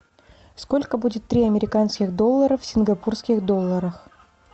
сколько будет три американских доллара в сингапурских долларах